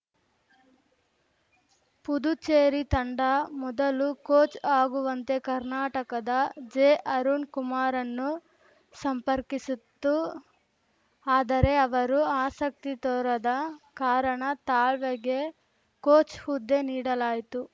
ಪುದುಚೇರಿ ತಂಡ ಮೊದಲು ಕೋಚ್‌ ಆಗುವಂತೆ ಕರ್ನಾಟಕದ ಜೆಅರುಣ್‌ ಕುಮಾರ್‌ರನ್ನು ಸಂಪರ್ಕಿಸಿತ್ತು ಆದರೆ ಅವರು ಆಸಕ್ತಿ ತೋರದ ಕಾರಣ ತಾಳ್ವೆಗೆ ಕೋಚ್‌ ಹುದ್ದೆ ನೀಡಲಾಯಿತು